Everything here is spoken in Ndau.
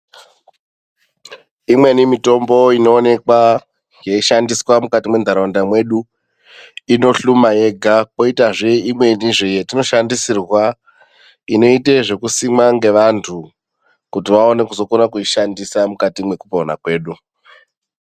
Imweni mitombo inowonekwa yeishandiswa mukati mentarawunda mwedu, inohluma yega kwoitazve imwenizve yatinoshandisirwa inoite zvekusimwa ngevantu kuti vaone kukona kuzoishandisa mukati mwekupona kwedu.